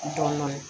Dɔɔnin dɔɔnin